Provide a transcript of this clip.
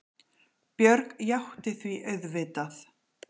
Björg játti því auðvitað.